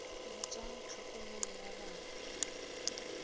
le tsa tlhokomelo ya bana